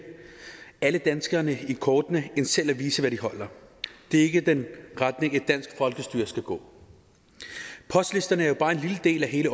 alle danskerne i kortene end selv at vise hvad de holder det er ikke den retning et dansk folkestyre skal gå postlisterne er jo bare en lille del af hele